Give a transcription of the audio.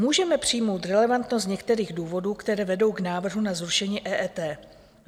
Můžeme přijmout relevantnost některých důvodů, které vedou k návrhu na zrušení EET.